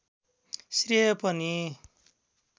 श्रेय पनि